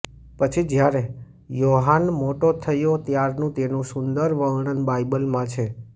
પછી જ્યારે યોહાન મોટો થયો ત્યારનું તેનું સુંદર વર્ણન બાઇબલ માં છે